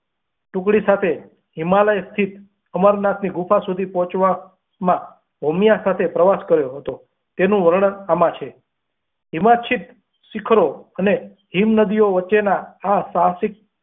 ટુકડી સાથે હિમાલાઉ સ્થિત અમરનાથ ની ગુફા સુધી પોહ્ચવા માં ભૂમિયા સાથે પ્રવાસ કર્યો હતો તેનું વર્ણન આમાં છે હિમચિત શિખરો અને હિમ નદી ઓ વચ્ચે ના આ સાહસિક.